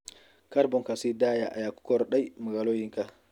Kaarboonka sii daaya ayaa ku kordhay magaalooyinka.